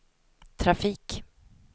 trafik